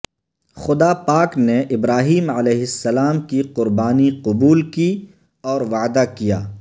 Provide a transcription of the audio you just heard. خدا پاک نے ابراہیم ع کی قربانی قبول کی اور وعدہ کیا